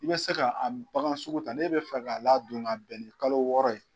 I be se k'a bagan sugu ta ne be fɛ k'a ladon ka bɛn ni kalo wɔɔrɔ ye